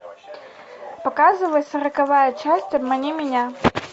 показывай сороковая часть обмани меня